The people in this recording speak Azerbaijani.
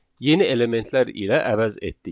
Yeni elementlər ilə əvəz etdik.